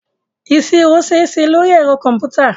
Ìṣirò ṣeéṣe lóri ẹ̀rọ kọ̀m̀pútà.